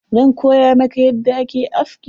Zan koya maka yadda ake aski.